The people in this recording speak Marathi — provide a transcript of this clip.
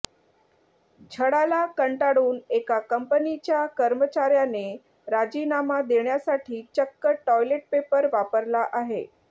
छळाला कंटाळून एका कंपनीच्या कर्मचाऱ्याने राजीनामा देण्यासाठी चक्क टॉयलेट पेपर वापरला आहे